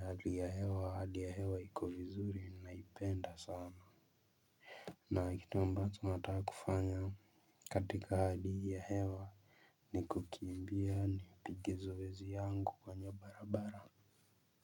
Hali ya hewa hali ya hewa iko vizuri naipenda sana. Na kitu ambacho nataka kufanya katika hali ya hewa ni kukimbia nipige zoezi yangu kwenye barabara.